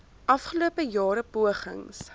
afgelope jare pogings